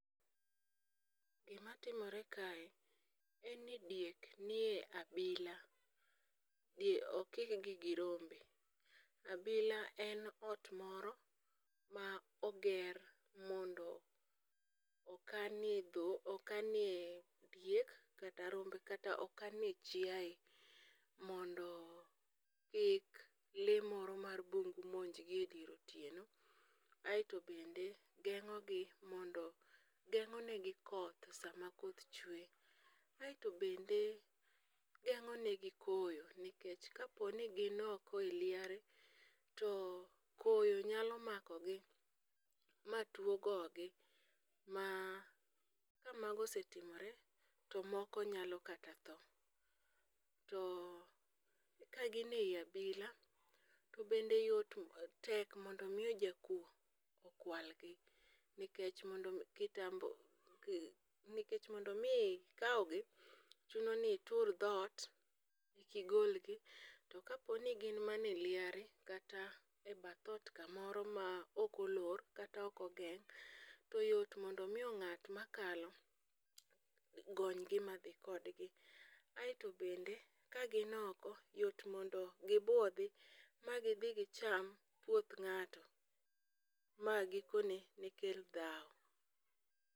Gimatimore kae en ni diek nie abila, okikgi gi rombe. Abila en ot moro ma oger mondo okanie diek, kata rombe kata okanie chiaye mondo kik lee moro mar bungu monjgi e dier otieno. Aeto bende geng'onegi koth sama koth chwe, aeto bnede geng'o negi koyo nikech kaponi gin oko e liare, to koyo nyalo makogi ma tuwo gogi, ma kamago osetimore to moko nyalo kata mana tho, to ka gin ei abila, to bende tek mondo omi jakuwo okwalgi, nikech mondo omi ikawgi, chuno ni itur dhot ekigolgi, to kaponi gin mana e liare kata e bath ot kamoro ma ok olor kata ok ogeng' to yot mondo omi ng'at makalo, gonygi ma dhi kodgi, aeto bende ka gi oko, yot mondo gibwodhi ma gidhi gicham puoth ng'ato, ma gikone ne kel dhawo.